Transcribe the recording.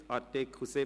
Neuer Artikel